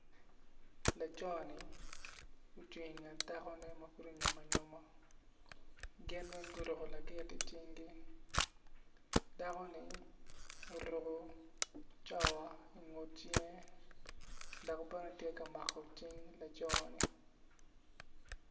Laco-ni ocung inget dakone ma pud onyomo anyoma gin weny guruku lagit icingi dako-ni oruku cawa ingut cinge dok bene tye ka mako cing laco-ni